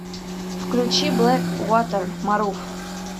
включи блэк вотер марув